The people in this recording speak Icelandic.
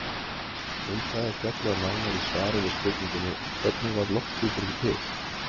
Um það er fjallað nánar í svari við spurningunni Hvernig varð lofthjúpurinn til?